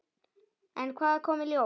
En hvað kom í ljós?